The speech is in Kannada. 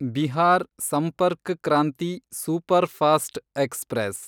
Bihar Sampark Kranti superfast express